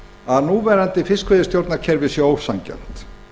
að núverandi fiskveiðistjórnarkerfi sé ósanngjarnt